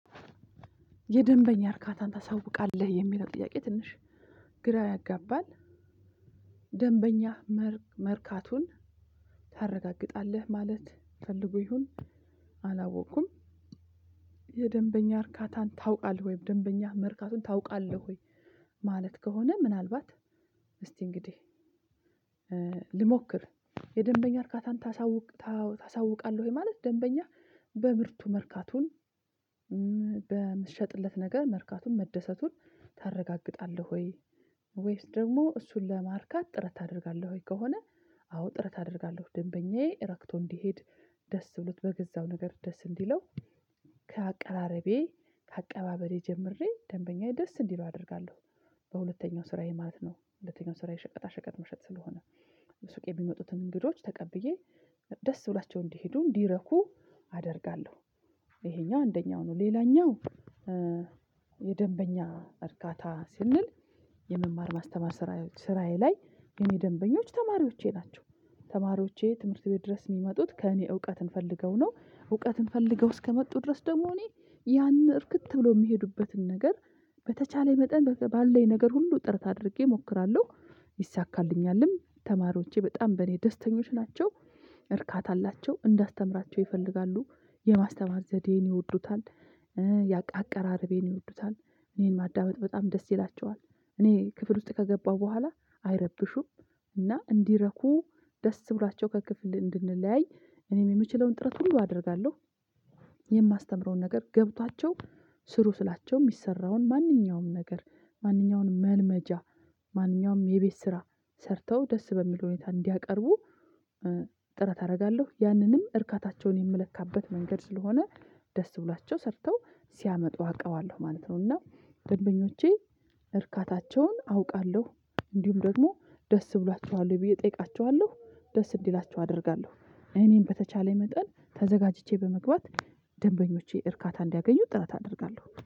የደንበኛ እርካታን ታሳውቃለህ የሚለው ጥያቄ ትንሽ ግራ ያጋባል ደንበኛ መርካቱን ታረጋግጣለህ ማለት ፈልጎ ይሁን አላወቅኩም። የደንበኛ እርካታን ታውቃለህ ወይም ደንበኛ መርካቱን ታውቃለህ ወይ? ማለት ከሆነ ምናልባት እስቲ እንግዲህ ልሞክር የደንበኛ እርካታን ታሳውቅ ታሳውቃለህ ማለት ደንበኛ በምርቱ መርካቱን በምትሸጥለት ነገር መርካቱን መደሰቱን ታረጋግጣለህ ወይ ወይስ ደግሞ እሱን ለማርካት ጥረት ታደርጋለህ? ወይ ከሆነ አዎ ጥረት አደርጋለሁ ደንበኛዬ ረክቶ እንዲሄድ ደስ ብሎት በገዛው ነገር ደስ እንዲለው ከአቀራረቤ ከአቀባበሌ ጀምሬ ደንበኛዬ ደስ እንዲለው አደርጋለሁ። በሁለተኛው ስራዬ ማለት ነው ሁለተኛው ስራዬ ሸቀጣ ሸቀጥ መሸጥ ስለሆነ ሱቅ የሚመጡትን እንግዶች ተቀብዬ ደስ ብሏቸው እንዲሄዱ እንዲረኩ አደርጋለሁ። ይሄኛው አንደኛው ነው ሌላኛው። የደንበኛ እርካታ ስንል የመማር ማስተማር ስራዬ ላይ የኔ ደንበኞች ተማሪዎቼ ናቸው። ተማሪዎቼ ትምህርት ቤት ድረስ የሚመጡት ከእኔ እውቀትን ፈልገው ነው እውቀትን ፈልገው እስከመጡ ድረስ ደግሞ እኔ ያን እርክት ብለው የሚሄዱበትን ነገር በተቻለኝ መጠን ባለኝ ነገር ሁሉ ጥረት አድርጌ እሞክራለሁ። ይሳካልኛልም ተማሪዎቼ በጣም በእኔ ደስተኞች ናቸው። እርካታ አላቸው እንዳስተምራቸው ይፈልጋሉ የማስተማ ዘዴዬን ይወዱታል። አቀራረቤን ይወዱታል እኔን ማዳመጥ በጣም ደስ ይላቸዋል። እኔ ክፍል ውስጥ ከገባሁ በኋላ አይረብሹም እና እንዲረኩ ደስ ብሏቸው ከክፍል እንድንለያይ እኔም የምችለውን ጥረት ሁሉ አደርጋለሁ። የማስተምረውን ነገር ገብቷቸው ስሩ ስላቸው የሚሰራውን ማንኛውም ነገር ማንኛውንም መልመጃ ማንኛውም የቤት ስራ ሰርተው ደስ በሚል ሁኔታ እንዲያቀርቡ ጥረት አደርጋለሁ። ያንንም እርካታቸውን የምለካበት መንገድ ስለሆነ ደስ ብላቸው ሰርተው ሲያመጡ አውቀዋለሁ ማለት ነው። እና ደንበኞቼ እርካታቸውን አውቃለሁ እንዲሁም ደግሞ ደስ ብሏቸዋል ብዬ እጠይቃቸዋለሁ ደስ እንዲላቸው አደርጋለሁ። እኔን በተቻለ መጠን ተዘጋጅቼ በመግባት ደንበኞቼ እርካታ እንዲያገኙ ጥረት አደርጋለሁ